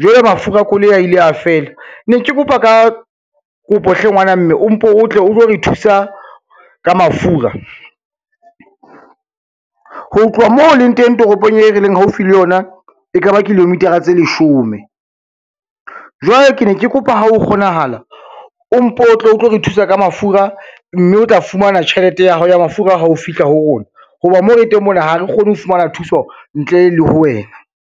jwale mafura a koloi a ile a fela, ne ke kopa ka kopo hle ngwana mme o mpo o tle o tlo re thusa ka mafura. Ho tloha moo o leng teng toropong e re leng haufi le yona e ka ba kilometer-a tse leshome. Jwale ke ne ke kopa ha ho kgonahala, o mpo o tle o tlo re thusa ka mafura, mme o tla fumana tjhelete ya hao ya mafura ha o fihla ho rona ho ba mo re teng mona ha re kgone ho fumana thuso ntle le ho wena.